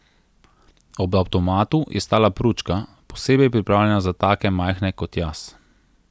Ob avtomatu je stala pručka, posebej pripravljena za take majhne kot jaz.